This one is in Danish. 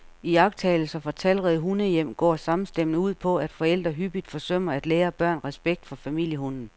Iagttagelser fra talrige hundehjem går samstemmende ud på, at forældre hyppigt forsømmer at lære børn respekt for familiehunden.